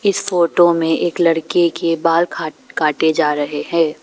इस फोटो में एक लड़की के बाल खा काटे जा रहे हैं।